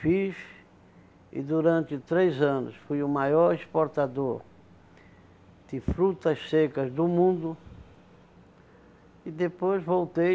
Fiz e durante três anos fui o maior exportador de frutas secas do mundo e depois voltei